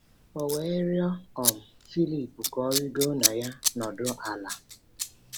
O we riọ um Filip ka o rigo na ya nọdu ala; ”